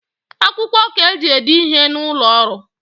Akwukwo ka eji ede ihe n’ụlọọrụ